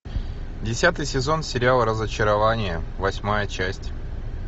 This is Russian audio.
десятый сезон сериала разочарование восьмая часть